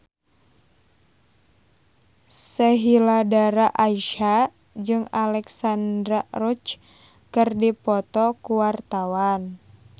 Sheila Dara Aisha jeung Alexandra Roach keur dipoto ku wartawan